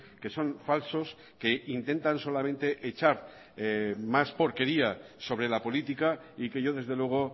que son falsos que intentan solamente echar más porquería sobre la política y que yo desde luego